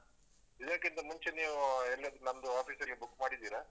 ಇದಕ್ಕಿಂತ ಮುಂಚೆ ನೀವು ಎಲ್ಲಿಯಾದ್ರೂ ನಮ್ದು office ಅಲ್ಲಿ book ಮಾಡಿದ್ದೀರಾ?